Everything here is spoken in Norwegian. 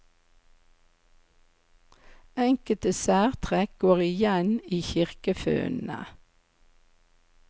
Enkelte særtrekk går igjen i kirkefunnene.